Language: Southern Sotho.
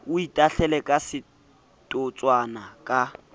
o itahlele ka setotswana ka